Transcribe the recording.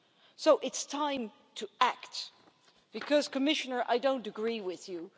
So it's time to act because, Commissioner, I don't agree with you.